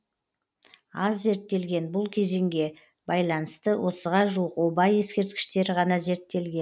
аз зерттелген бұл кезеңге байланысты отызға жуық оба ескерткіштері ғана зерттелген